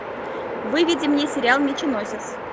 выведи мне сериал меченосец